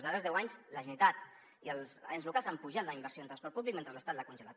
en els darrers els deu anys la generalitat i els ens locals han apujat la inversió en transport públic mentre l’estat l’ha congelat